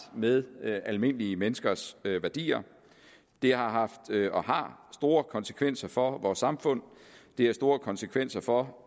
med almindelige menneskers værdier det har haft og har store konsekvenser for vores samfund det har store konsekvenser for